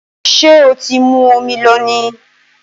Ṣé o ti mu omi lónìí?